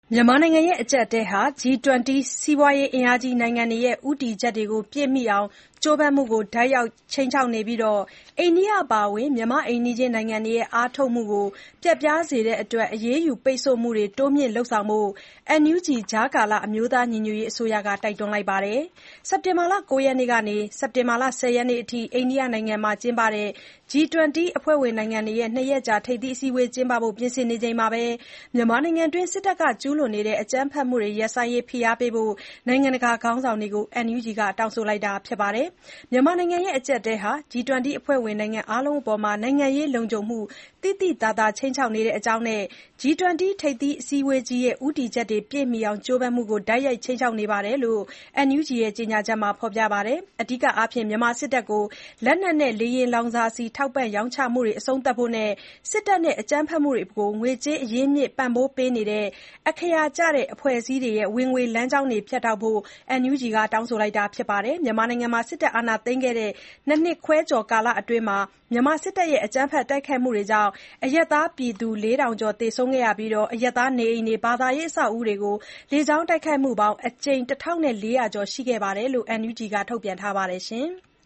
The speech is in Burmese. မြန်မာနိုင်ငံ အကျပ်အတည်းဟာ G-20 စီးပွားရေးအင်အားကြီး နိုင်ငံတွေရဲ့ ဦးတည်ချက်တွေ ပြည့်မီအောင် ကြိုးပမ်းမှုကို တိုက်ရိုက် ခြိမ်းခြောက်နေပြီး အိန္ဒိယ အပါအဝင် မြန်မာ့ အိမ်နီးချင်းနိုင်ငံတွေရဲ့ အားထုတ်မှုတွေကို ပျက်ပြားစေတဲ့အတွက် အရေးယူပိတ်ဆို့မှုတွေ တိုးမြှင့်လုပ်ဆောင်ဖို့ NUG ကြားကာလ အမျိုးသားညီညွတ်ရေးအစိုးရက တိုက်တွန်းလိုက်ပါတယ်။ စက်တင်ဘာလ ၉ ရက်ကနေ ၁၀ ရက်နေ့အထိ အိန္ဒိယနိုင်ငံမှာ G20 အဖွဲ့ဝင်နိုင်ငံတွေ ၂ ရက်ကြာ ထိပ်သီးအစည်းအဝေးကျင်းပဖို့ ပြင်ဆင်နေချိန်မှာ မြန်မာနိုင်ငံအတွင်း စစ်တပ်က ကျုးလွန်တဲ့ အကြမ်းဖက်မှုတွေ ရပ်ဆိုင်းရေး ဖိအားပေးဖို့ နိုင်ငံတကာခေါင်းဆောင်တွေကို NUG က တောင်းဆိုလိုက်တာပါ။ မြန်မာနိုင်ငံရဲ့ အကျပ်အတည်းဟာ G-20 အဖွဲ့ဝင်နိုင်ငံ အားလုံးအပေါ် နိုင်ငံရေးလုံခြုံမှု သိသိသာသာ ခြိမ်းခြောက်နေတဲ့အကြောင်းနဲ့ G-20 ထိပ်သီး အစည်းအဝေးကြီးရဲ့ ဦးတည်ချက်တွေပြည့်မီအောင် ကြိုးပမ်းမှုတွေကို တိုက်ရိုက် ခြိမ်းခြောက်နေတယ်လို့လည်း NUG ရဲ့ ကြေညာချက်မှာ ဖေါ်ပြပါတယ်။ အဓိကအားဖြင့် မြန်မာစစ်တပ်ကို လက်နက်နဲ့ လေယာဉ်လောင်စာဆီတွေ ထောက်ပံ့၊ ရောင်းချနေမှုတွေ အဆုံးသတ်ဖို့နဲ့ စစ်တပ်နဲ့ သူ့ရဲ့ အကြမ်းဖက်မှုတွေအတွက် ငွေကြေး အရင်းအမြစ် ပံ့ပိုး ပေးနေတဲ့ အခအရာကျတဲ့ အဖွဲ့အစည်းတွေရဲ့ ဝင်ငွေလမ်းကြောင်းတွေ ဖြတ်တောက်ဖို့ NUG က တောင်းဆိုတာပါ။ စစ်တပ် အာဏာသိမ်းခဲ့တဲ့ ၂ နှစ်ခွဲကျော်ကာလအတွင်း ဩဂုတ်လအထိ မြန်မာစစ်တပ်ရဲ့ အကြမ်းဖက် တိုက်ခိုက်မှုကြောင့် အရပ်သားပြည်သူ ၄,၀၂၃ ယောက် သေဆုံးခဲ့ပြီး၊ အရပ်သားနေအိမ်နဲ့ ဘာသာရေးအဆောက်အအုံတွေကို လေကြောင်းတိုက်ခိုက်မှုပေါင်း အကြိမ် ၁,၄၀၀ ကျော် ရှိခဲ့တယ်လို့ NUG က ပြောဆိုထားပါတယ်။